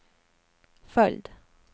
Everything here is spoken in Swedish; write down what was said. följd